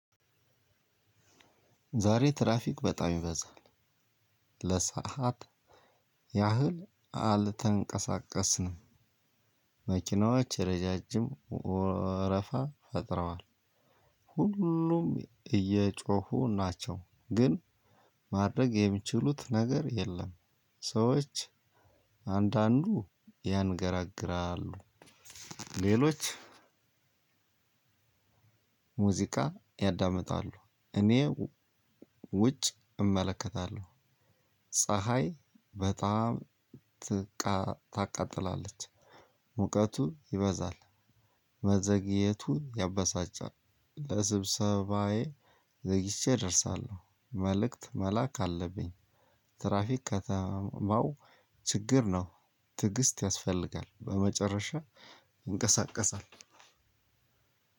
ዛሬ ትራፊክ በጣም ይበዛል። ለሰአት ያህል አልተንቀሳቀስንም። መኪናዎች ረጃጅም ወረፋ ፈጥረዋል። ሁሉም እየጮሁ ናቸው፤ ግን ማድረግ የሚችሉት ነገር የለም። ሰዎች አንዳንዱ ያንገራግራሉ፤ ሌሎች ሙዚቃ ያዳምጣሉ። እኔ ውጭ እመለከታለሁ። ፀሀይ በጣም ታቃጥላለች። ሙቀቱ ይበዛል። መዘግየቱ ያበሳጫል። ለስብሰባዬ ዘግይቼ እደርሳለሁ። መልእክት መላክ አለብኝ። ትራፊክ ከተማው ችግር ነው። ትዕግስት ያስፈልጋል። በመጨረሻ ይንቀሳቀሳል።